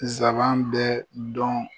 Zaban bɛ dɔn.